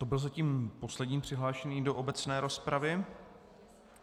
To byla zatím poslední přihláška do obecné rozpravy.